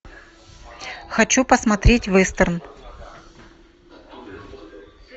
хочу посмотреть вестерн